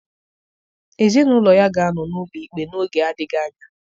Ezinụlọ ya ga-anọ n'ụlọ ikpe n'oge adịghị anya.